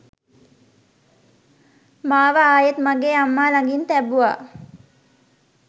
මාව ආයෙත් මගේ අම්මා ලඟින් තැබුවා